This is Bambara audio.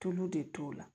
Tulu de t'o la